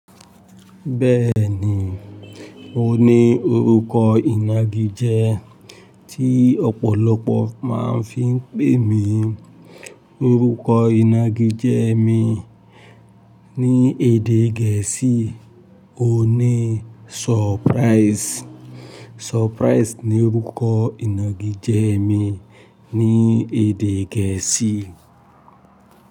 Bẹ́ẹ̀ni, mo ní orúkọ ìnagijẹ tí ọ̀pọ̀lọpọ̀ máa ń fi ń pè mí. Orúkọ ìnagijẹ mi ní èdè gẹ̀ẹ́sì ni Surprise. Surprise ni orúkọ ìnagijẹ mi ní èdè gẹ̀ẹ́sì.